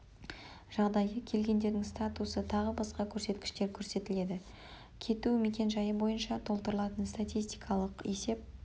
жағдайы келгендердің статусы тағы басқа көрсеткіштер көрсетіледі кету мекен-жайы бойынша толтырылатын статистикалық есеп